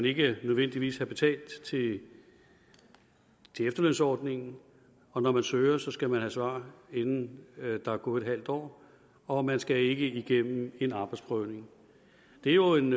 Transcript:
ikke nødvendigvis skal have betalt til efterlønsordningen og når man søger skal man have svar inden der er gået halvt år og man skal ikke igennem en arbejdsprøvning det er jo en